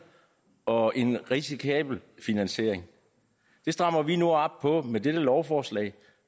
og en risikabel finansiering det strammer vi nu op på med dette lovforslag